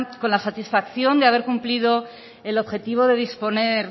con la satisfacción de haber cumplido el objetivo de disponer